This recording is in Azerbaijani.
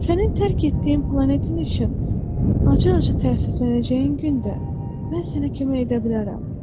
Sənin tərk etdiyin planetin üçün acı-acı təəssüflənəcəyin gün də mən sənə kömək edə bilərəm.